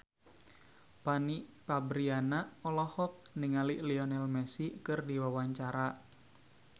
Fanny Fabriana olohok ningali Lionel Messi keur diwawancara